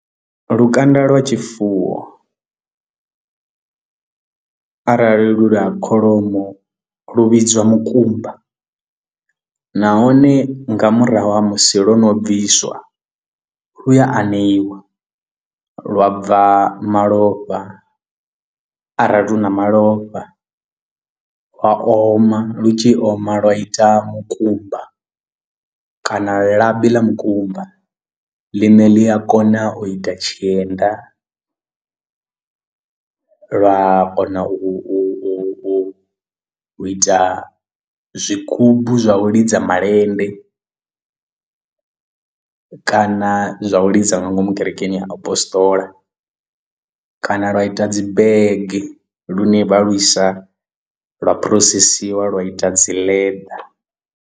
Lukanda lwa tshifuwo arali lu lwa kholomo lu vhidzwa mukumba nahone nga murahu ha musi lwono bviswa lu ya aneiwa lwa bva malofha arali hu na malofha lwa oma lu tshi oma lwa ita mukumba kana labi ḽa mukumba ḽine ḽi a kona u ita tshienda lwa a kona u ita zwigubu zwa u lidza malende kana zwa u lidza nga ngomu kerekeni ya apostola kana lwa ita dzi bege lune vha lwisa lwa phurosesiwa lwa ita dzi leḓa.